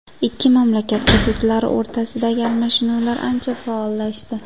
Ikki mamlakat hududlari o‘rtasidagi almashinuvlar ancha faollashdi.